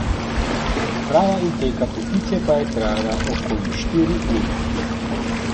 Priprava in peka potice pa je trajala okoli štiri ure.